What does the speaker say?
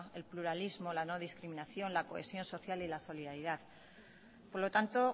el pluralismo la no discriminación la cohesión social y la solidaridad por lo tanto